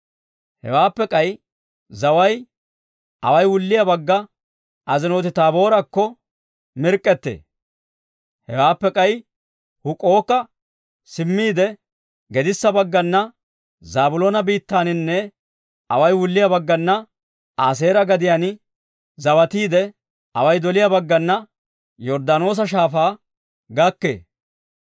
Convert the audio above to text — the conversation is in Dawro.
Hewaappe k'ay zaway away wulliyaa bagga Azinooti-Taaboorakko mirk'k'ettee; hewaappe k'ay Huk'ook'a simmiide, gedissa baggana Zaabiloona biittaaninne away wulliyaa baggana Aaseera gadiyaan zawatiide, away doliyaa baggana Yorddaanoosa Shaafaa gakkee.